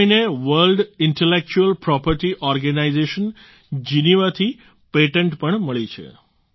આ મહિને World Intellectual Property Organization Geneva થી પેટન્ટ પણ મળી છે